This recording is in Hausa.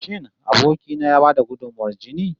Shin aboki na ya ba da gudunmawar jini?